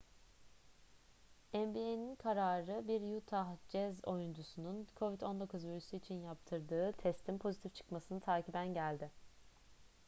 nba'in kararı bir utah jazz oyuncusunun covid-19 virüsü için yaptırdığı testin pozitif çıkmasını takiben geldi